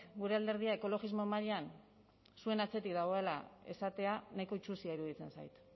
gure alderdia ekologismo mailan zuen atzetik dagoela esatea nahiko itsusia iruditzen zait